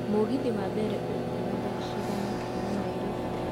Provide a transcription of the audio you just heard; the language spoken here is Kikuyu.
mũgithi wa mbere ũkuuma thaa cigana kuuma nairobi